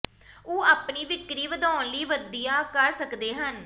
ਉਹ ਆਪਣੀ ਵਿਕਰੀ ਵਧਾਉਣ ਲਈ ਵਧੀਆ ਕਰ ਸਕਦੇ ਹਨ